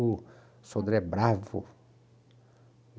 O Sodré é bravo.